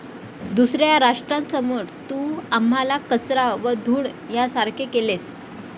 दुसऱ्या राष्ट्रांसमोर तू आम्हाला कचरा व धूळ ह्यासारखे केलेस.